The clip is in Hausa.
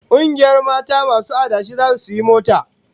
Kungiyar mata masu adashi zasu sayi mota